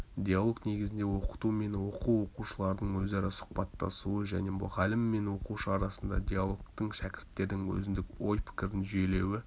диалог негізінде оқыту мен оқу оқушылардың өзара сұхбаттасуы және мұғалім мен оқушы арасындағы диалогтің шәкірттердің өзіндік ой-пікірін жүйелеуі